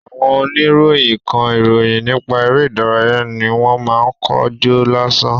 Àwọn oníròyìn kan, ìròyìn nípa eré ìdárayá ni wọ́n máa ń kó jọ lásán.